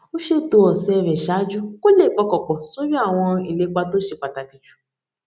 ó ṣètò òsè rè ṣáájú kó lè pọkàn pò sórí àwọn ìlepa tó ṣe pàtàkì jù